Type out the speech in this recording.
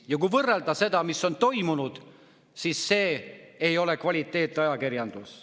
Ja kui vaadata seda, mis on toimunud, siis see ei ole kvaliteetajakirjandus.